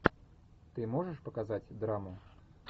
ты можешь показать драму